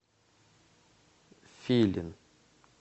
филин